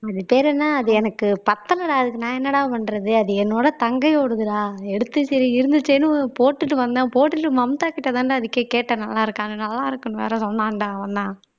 அது பேர் என்ன அது எனக்கு பத்தலைடா அதுக்கு நான் என்னடா பண்றது அது என்னோட தங்கை ஓடுதுடா எடுத்து சரி இருந்துச்சேன்னு போட்டுட்டு வந்தேன் போட்டுட்டு மம்தாகிட்டதான்டா அதுக்கு கேட்டேன் நல்லா இருக்கான் நல்லா இருக்குன்னு வேற சொன்னான்டா அவன்தான்